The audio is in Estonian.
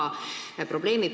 Aitäh, lugupeetud eesistuja!